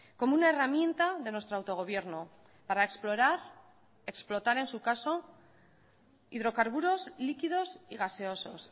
como una herramienta de nuestro autogobierno para explorar explotar en su caso hidrocarburos líquidos y gaseosos